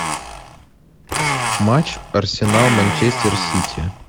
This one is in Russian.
матч арсенал манчестер сити